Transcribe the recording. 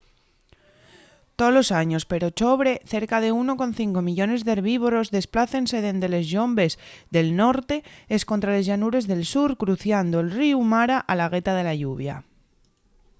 tolos años per ochobre cerca de 1,5 millones d'herbívoros desplácense dende les llombes del norte escontra les llanures del sur cruciando'l ríu mara a la gueta de la lluvia